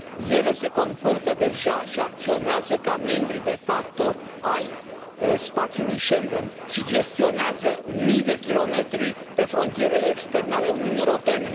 Ele se comportă deja și acționează ca membri de facto ai spațiului Schengen și gestionează mii de kilometri pe frontierele externe ale Uniunii Europene.